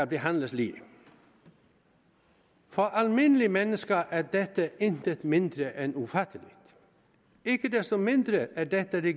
behandles lige for almindelige mennesker er dette intet mindre end ufatteligt ikke desto mindre er det er det